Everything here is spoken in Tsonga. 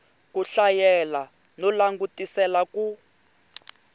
ku hlayela no langutisela ku